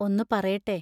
ഒന്നു പറയട്ടെ.